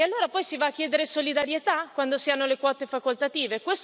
E allora poi si va a chiedere solidarietà, quando si hanno le quote facoltative?